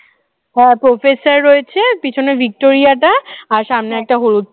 হ্যাঁ professor রয়েছে পিছনে ভিক্টোরিয়া টা আর সামনে একটা হলুদ